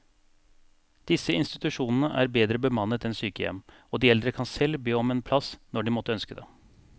Disse institusjonene er bedre bemannet enn sykehjem, og de eldre kan selv be om en plass når de måtte ønske det.